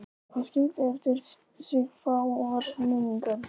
Hann skildi eftir sig fáar minningar.